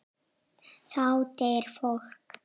Þá deyr fólk.